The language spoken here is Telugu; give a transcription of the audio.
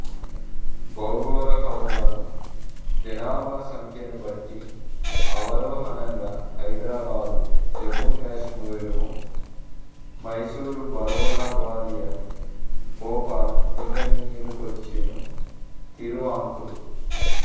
భౌగోళకముగనూ జనాభాసంఖ్యని బట్టి అవరోహణంగా హైదరాబాదు జమ్మూకశ్మీరము మైసూరు బరోడా గ్వాలియర్ భోపాల్ బికనీరు కొచ్చిను తిరువాంకూరు